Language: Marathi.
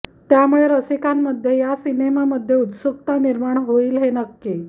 त्यामुळे रसिकांमध्ये या सिनेमामध्ये उत्सुकता निर्माण होईल हे नक्की